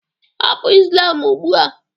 Hapụ islam ugbua!